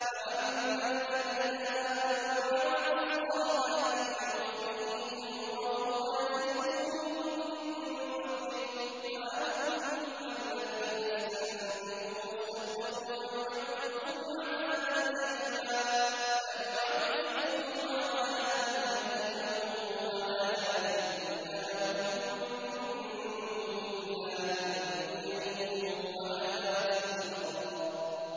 فَأَمَّا الَّذِينَ آمَنُوا وَعَمِلُوا الصَّالِحَاتِ فَيُوَفِّيهِمْ أُجُورَهُمْ وَيَزِيدُهُم مِّن فَضْلِهِ ۖ وَأَمَّا الَّذِينَ اسْتَنكَفُوا وَاسْتَكْبَرُوا فَيُعَذِّبُهُمْ عَذَابًا أَلِيمًا وَلَا يَجِدُونَ لَهُم مِّن دُونِ اللَّهِ وَلِيًّا وَلَا نَصِيرًا